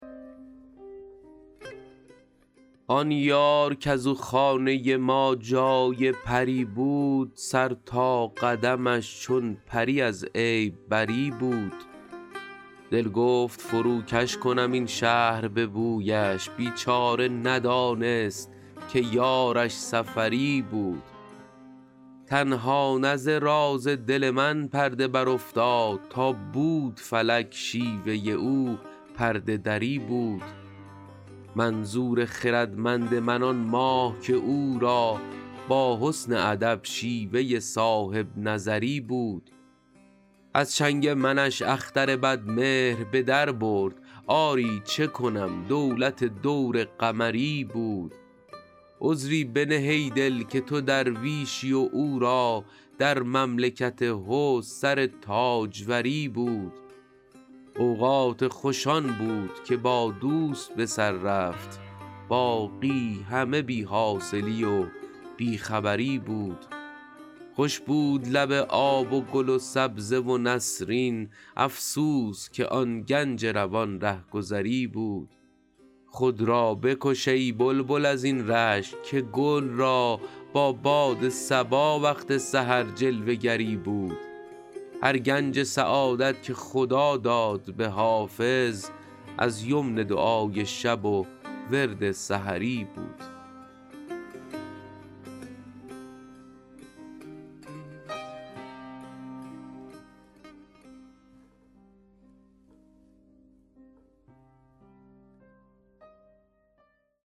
آن یار کز او خانه ما جای پری بود سر تا قدمش چون پری از عیب بری بود دل گفت فروکش کنم این شهر به بویش بیچاره ندانست که یارش سفری بود تنها نه ز راز دل من پرده برافتاد تا بود فلک شیوه او پرده دری بود منظور خردمند من آن ماه که او را با حسن ادب شیوه صاحب نظری بود از چنگ منش اختر بدمهر به در برد آری چه کنم دولت دور قمری بود عذری بنه ای دل که تو درویشی و او را در مملکت حسن سر تاجوری بود اوقات خوش آن بود که با دوست به سر رفت باقی همه بی حاصلی و بی خبری بود خوش بود لب آب و گل و سبزه و نسرین افسوس که آن گنج روان رهگذری بود خود را بکش ای بلبل از این رشک که گل را با باد صبا وقت سحر جلوه گری بود هر گنج سعادت که خدا داد به حافظ از یمن دعای شب و ورد سحری بود